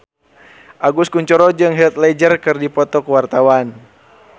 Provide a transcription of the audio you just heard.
Agus Kuncoro jeung Heath Ledger keur dipoto ku wartawan